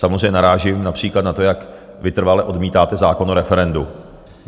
Samozřejmě narážím například na to, jak vytrvale odmítáte zákon o referendu.